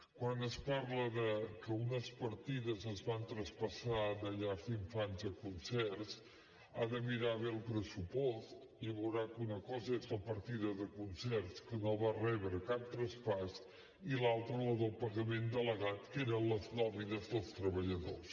quan es parla de que unes partides es van traspassar de llars d’infants a concerts ha de mirar bé el pressupost i veurà que una cosa és la partida de concerts que no va rebre cap traspàs i l’altra la del pagament delegat que eren les nòmines dels treballadors